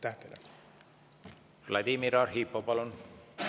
Vladimir Arhipov, palun!